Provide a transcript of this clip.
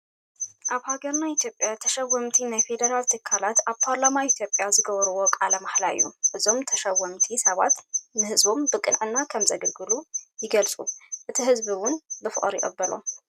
ኣብ ሃገርና ኢትዮጵያ ተሸወምቲ ናይ ፌደራል ትካላት ኣብ ፖርላማ ኢትዮጵያ ዝገብርዎ ቃለ ማህላ እዩ። እዞም ተሸወምቲ ሰባት ንህዝቦም ብቅንዕና ከም ዘገልግሉ ይገልጡ እቲ ህዝቢ እውን ብፍቅሪ ይቅበሎም።